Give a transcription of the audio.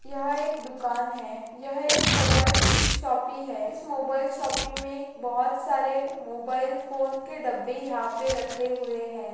यह एक दुकान है यह एक मोबाईल शोपी है इस मोबाईल शोपी मे बोहोत सारे मोबाईल फोन के डब्बे रखे हुए है।